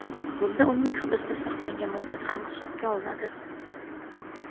Bunda uning hibsda saqlangan muddati ham hisobga olinadi.